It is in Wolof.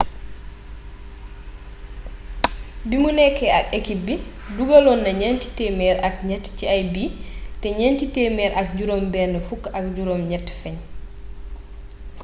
bimu nekké ak ekip bi dugalonna nienti temer ak niet ci ay bii té nienti temer ak jirom ben fuk ak jirom niet fegn